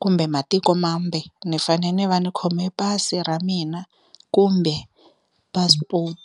kumbe matiko mambe ni fane ni va ni khome pasi ra mina kumbe passport.